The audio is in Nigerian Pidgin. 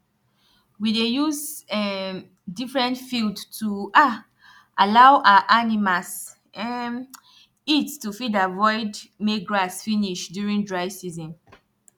we dey use um different field to um allow our animals um eat to fit avoid make grass finish during dry season